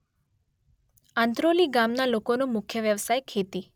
આંત્રોલી ગામના લોકોનો મુખ્ય વ્યવસાય ખેતી